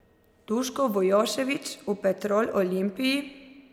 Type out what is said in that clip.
Duško Vujošević v Petrol Olimpiji?